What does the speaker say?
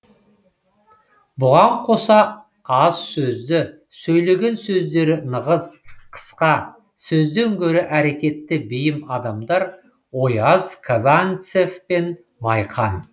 бұған қоса аз сөзді сөйлеген сөздері нығыз қысқа сөзден гөрі әрекетке бейім адамдар ояз казанцев пен майқан